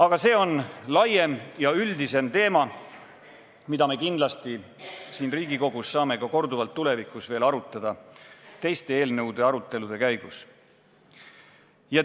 Aga see on laiem ja üldisem teema, mida me kindlasti saame siin Riigikogus korduvalt ka tulevikus teiste eelnõude arutelude käigus arutada.